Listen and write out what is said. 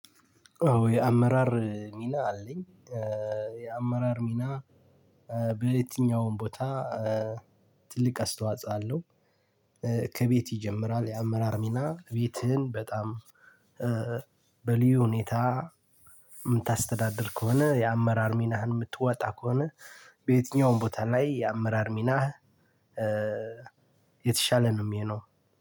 አዎ የአመራር ሚና አለኝ። የአመራር ሚና በየትኛውም ቦታ ትልቅ አስተዋጽኦ አለው። ከቤት ይጀምራል የአመራር ሚና ቤትህን በጣም በሊዩ ሁኔታ የምታስተዳድር ከሆነ የአመራር ሚናህን የምትወጣ ከሆነ። በየትኛውም ቦታ ላይ የአመራር ሚናህ የተሻለ ነው። የሚሆነው